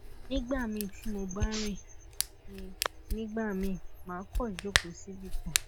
nígbà míì tí mo bá rin ni nigba mii màá kàn jókòó síbì kan